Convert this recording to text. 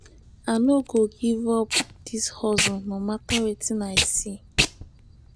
i no go give up dis hustle no mata wetin i i see.